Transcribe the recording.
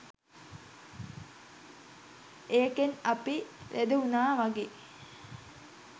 ඒකෙන් අපි ලෙඩ වුණා වගෙයි